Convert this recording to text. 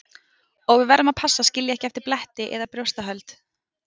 Og við verðum að passa að skilja ekki eftir bletti eða brjóstahöld.